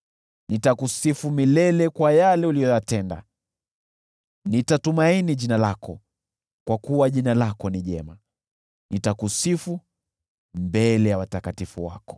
Nitakusifu milele kwa yale uliyoyatenda, nitatumaini jina lako, kwa kuwa jina lako ni jema. Nitakusifu mbele ya watakatifu wako.